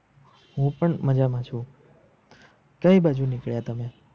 હું પણ મજામાં છું કઈ બાજુ નીકળ્યા તમે?